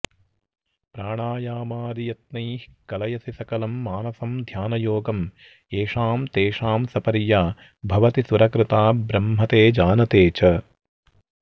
प्राणायामादियत्नैः कलयसि सकलं मानसं ध्यानयोगं येषां तेषां सपर्या भवति सुरकृता ब्रह्म ते जानते च